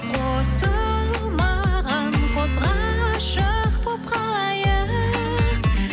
қосылмаған қос ғашық болып қалайық